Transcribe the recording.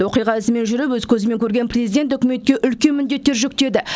оқиға ізімен жүріп өз көзімен көрген президент үкіметке үлкен міндеттер жүктеді